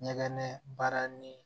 Ɲɛgɛn baara ni